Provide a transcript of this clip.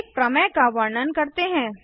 एक प्रमेय का वर्णन करते हैं